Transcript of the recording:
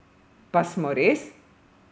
Pa smo res?